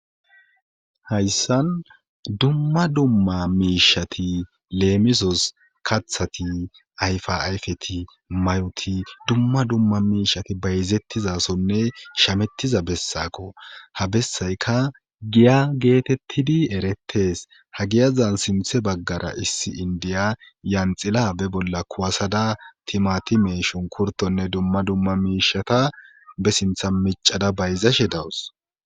hayssan dumma dumma miishati leemisos kathati ayfaayfeti mayoti dumma dumma miishati bayzettizasonne shamettiza bessako ha bessayka giya geetettidi erettes ha giyazan sinthe baggara issi indiya yanxila be bolla kuwasada timati meeshon kurtonne dumma dumma miishata be sintha micada bayzashe dawus